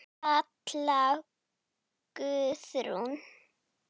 Katla Guðrún.